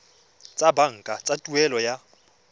tsa banka tsa tuelo ya